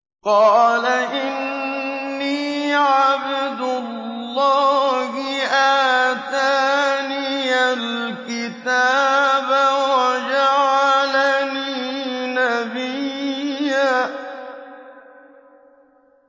قَالَ إِنِّي عَبْدُ اللَّهِ آتَانِيَ الْكِتَابَ وَجَعَلَنِي نَبِيًّا